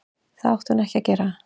Það átti hún ekki að gera.